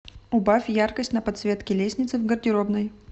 убавь яркость на подсветке лестницы в гардеробной